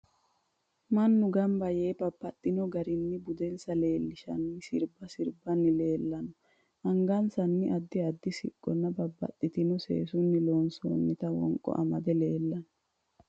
Mannu ganbba yee babbaxino garinni budensa leelishanno sirbba sirbbanni leelanno anhasanni addi addi siqqonna babbaxitino seesunni lonsoonita wonqo amade leelanno